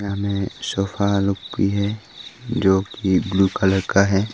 Sofa look भी है जो कि ब्लू कलर का है।